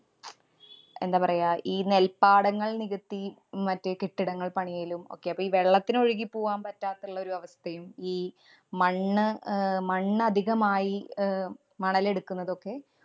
എന്താ പറയ്ക ഈ നെല്‍പാടങ്ങൾ നികത്തി മറ്റേ കെട്ടിടങ്ങൾ പണിയലും ഒക്കെ അപ്പൊ ഈ വെള്ളത്തിനൊഴുകി പൂവാൻ പറ്റാത്തുള്ളൊരു അവസ്ഥയും, ഈ മണ്ണ് അഹ് മണ്ണ് അധികമായി അഹ് മണൽ എടുക്കുന്നതൊക്കെ